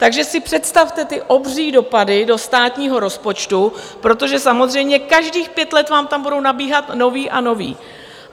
Takže si představte ty obří dopady do státního rozpočtu, protože samozřejmě každých pět let vám tam budou nabíhat noví a noví.